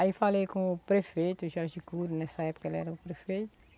Aí eu falei com o prefeito Jorge Curio, nessa época ele era o prefeito.